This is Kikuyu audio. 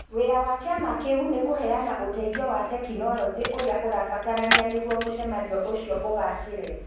Wĩra wa kĩama kĩu nĩ kũheana ũteithio wa tekinolonjĩ ũrĩa ũrabatarania nĩguo mũcemanio ũcio ũgaacĩre